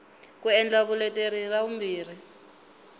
ku endla vuleteri ra vumbirhi